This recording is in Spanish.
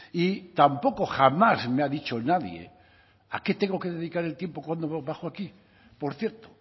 y tampoco jamás me ha dicho nadie a qué tengo que dedicar el tiempo cuando bajo aquí por cierto